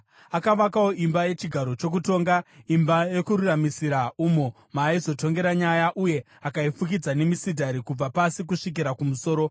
Akavakawo imba yechigaro chokutonga, Imba Yokururamisira, umo maaizotongera nyaya, uye akaifukidza nemisidhari kubva pasi kusvikira kumusoro.